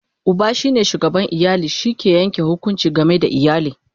Uba shine shugaban iyali, shi ke Yanke hukunci game da iyali